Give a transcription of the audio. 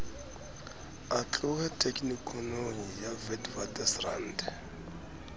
a tlohe tekenikonong ya witwatersrand